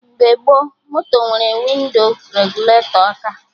Mgbe gboo, moto nwere windo regụletọ aka